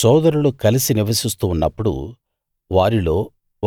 సోదరులు కలిసి నివసిస్తూ ఉన్నప్పుడు వారిలో